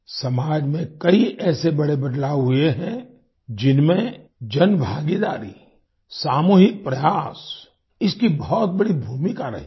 समाज में कई ऐसे बड़े बदलाव हुए हैं जिनमें जनभागीदारी सामूहिक प्रयास इसकी बहुत बड़ी भूमिका रही है